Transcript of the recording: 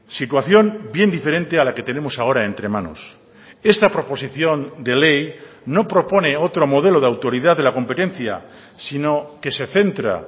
situación bien diferente a la que tenemos ahora entre manos esta proposición de ley no propone otro modelo de autoridad de la competencia sino que se centra